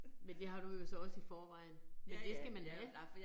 Men har du jo så også i forvejen, men det skal man have